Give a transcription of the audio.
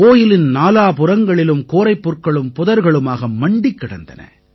going நாலாபுறங்களிலும் கோரைப்புற்களும் புதர்களுமாக மண்டிக் கிடந்தன